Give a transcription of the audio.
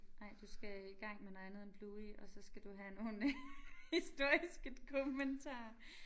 Nej du skal i gang med noget andet end Bluey og så skal du have nogle historiske dokumentarer